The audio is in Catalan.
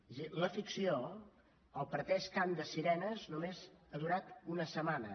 és a dir la ficció el pretès cant de sirenes només ha durat una setmana